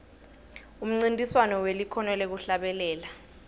umncintiswano welikhono lekuhlabelela